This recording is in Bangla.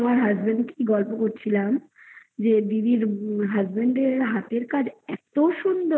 husband গল্প করছিলাম যে দিদির husband এর হাতের কাজ এত সুন্দর